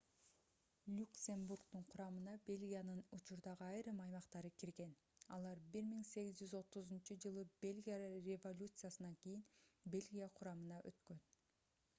люксембургдун курамына бельгиянын учурдагы айрым аймактары кирген алар 1830-ж бельгия революциясынан кийин бельгия курамына өткөн